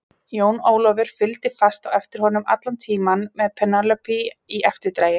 Jón Ólafur fylgdi fast á eftir honum allan tímann með Penélope í eftirdragi.